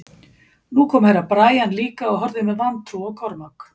Nú kom Herra Brian líka og horfði með vantrú á Kormák.